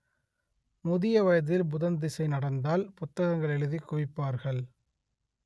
முதிய வயதில் புதன் தசை நடந்தால் புத்தகங்கள் எழுதிக் குவிப்பார்கள்